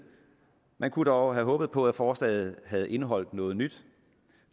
man kunne dog have håbet på at forslaget havde indeholdt noget nyt